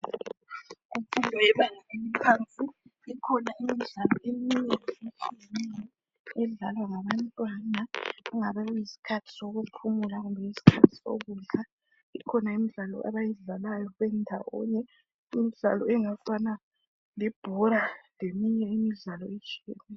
Imfundo yebanga eliphansi. Ikhona imidlalo eminye, edlalwa ngabantwana ngesikhathi sokuphumula, kumbe esokudla. Ikhona imidlalo abayidlalayo bendawonye. Imidlalo engafana lebhora. Leminye imidlalo etshiyeneyo,